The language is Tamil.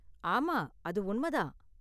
ஆமா, அது உண்ம தான்.